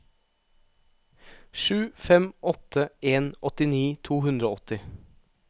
sju fem åtte en åttini to hundre og åtti